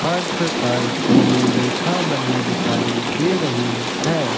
फर्श पर पीली रेखा बनी दिखाई दे रही है।